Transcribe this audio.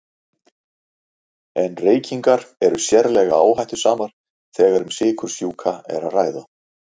En reykingar eru sérlega áhættusamar þegar um sykursjúka er að ræða.